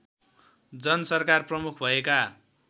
जनसरकार प्रमुख भएका